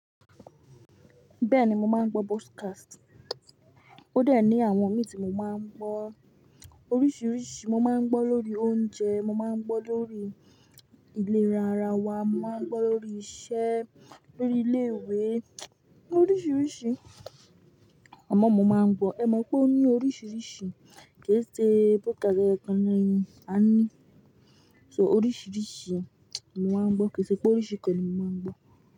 Bẹ́ẹ̀ni, mo máa ń gbọ́ broadcast. Ó dẹ ní àwọn mi hin tí mo máa ń gbọ́. Oríṣìíríṣìí, mo máa ń gbọ́ lórí oúnjẹ, mo máa ń gbọ́ lórí ìlera ara wa, mo máa ń gbọ́ lórí iṣẹ́, lórí ilé ìwé, oríṣìíríṣìí àmọ mo máa ń gbọ́. Ẹ mọ̀ pé ó ní oríṣìíríṣìí kì í ṣe broadcast eyokan ni a ní. So oríṣìíríṣìí ni mo máa ń gbọ́ kì í ṣe pé oríṣìí kan ni mo máa ń gbọ́.